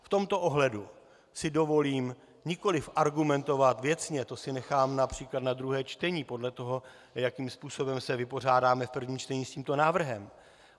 V tomto ohledu si dovolím nikoli argumentovat věcně, to si nechám například na druhé čtení, podle toho, jakým způsobem se vypořádáme v prvním čtení s tímto návrhem.